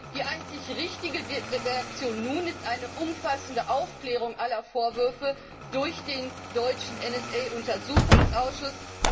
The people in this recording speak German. Die einzig richtige Reaktion nun ist eine umfassende Aufklärung aller Vorwürfe durch den deutschen NSA Untersuchungsausschuss.